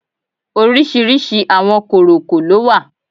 Orísìírísìí àwọn kòròkò ló wà